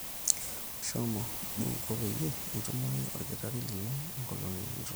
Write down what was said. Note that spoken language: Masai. shomo buuko peyie itumore olkitarri lino enkolong nitumoki